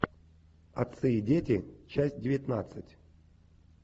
отцы и дети часть девятнадцать